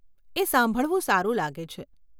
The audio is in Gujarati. એ સાંભળવું સારું લાગે છે.